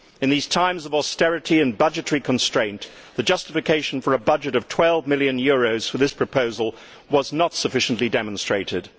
In these times of austerity and budgetary constraint, the justification for a budget of EUR 12 million for this proposal was not sufficiently demonstrated.